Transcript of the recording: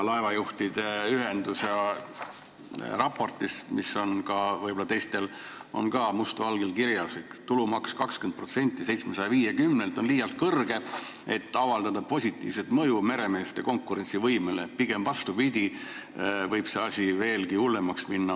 Laevajuhtide ühenduse raportis, mis on võib-olla ka teistel olemas, on must valgel kirjas, et 20% tulumaksu 750 eurolt on liialt kõrge, et avaldada positiivset mõju meremeeste konkurentsivõimele, pigem vastupidi: asi võib veelgi hullemaks minna.